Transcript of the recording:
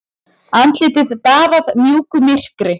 Andlitið baðað mjúku myrkri.